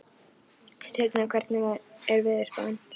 Signar, hvernig er veðurspáin?